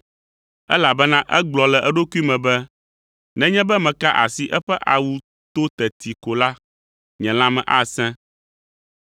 elabena egblɔ le eɖokui me be, “Nenye be meka asi eƒe awu to teti ko la, nye lãme asẽ.”